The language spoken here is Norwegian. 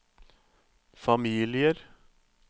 familier